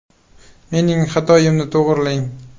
Mening xatomni to‘g‘rilang.